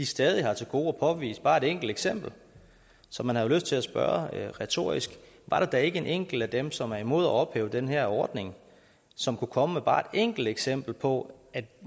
stadig har til gode at påvise bare et enkelt eksempel så man har lyst til at spørge retorisk var der da ikke en enkelt af dem som er imod at ophæve den her ordning som kunne komme med bare et enkelt eksempel på at